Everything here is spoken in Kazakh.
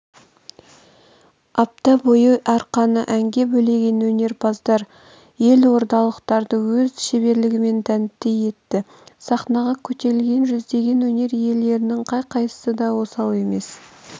апта бойы арқаны әнге бөлеген өнерпаздар елордалықтарды өз шеберлігімен тәнті етті сахнаға көтерілген жүздеген өнер иелерінің қай-қайсысы да осал емес